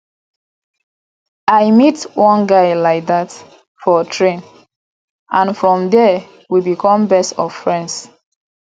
i meet one guy like dat for train and from there we become best of friends